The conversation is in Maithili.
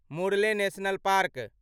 Murlen national park